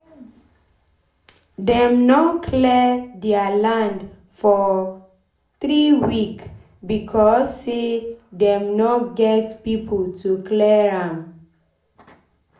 dem nor clear deir land for three week becos say dem nor get pipo to clear am